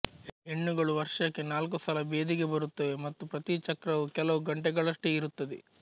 ಹೆಣ್ಣುಗಳು ವರ್ಷಕ್ಕೆ ನಾಲ್ಕು ಸಲ ಬೆದೆಗೆ ಬರುತ್ತವೆ ಮತ್ತು ಪ್ರತೀ ಚಕ್ರವೂ ಕೆಲವು ಗಂಟೆಗಳಷ್ಟೇ ಇರುತ್ತದೆ